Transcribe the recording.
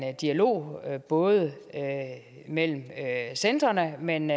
dialog både mellem centrene men